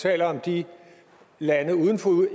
taler om de lande uden for